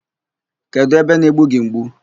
Kedụ ebe na-egbu gị mgbu?